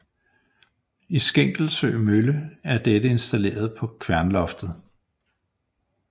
I Skenkelsø Mølle er dette installeret på kværnloftet